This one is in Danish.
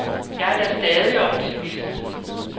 Jeg er da stadig optimist.